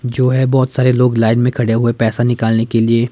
जो है बहुत सारे लोग लाइन में खड़े हुए पैसा निकालने के लिए।